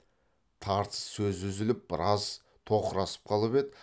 тартыс сөз үзіліп біраз тоқырасып қалып еді